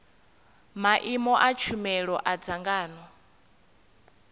maimo a tshumelo a dzangano